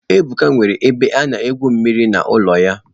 Ebuka nwere ebe ana egwu mmiri n'ụlọ ya.